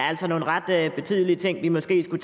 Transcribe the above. er nogle ret betydeligt ting vi måske skulle